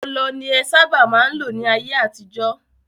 Ọlọ ni en sábà má n lò ní ayé àtijọ́.